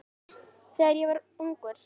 Þegar ég var ungur.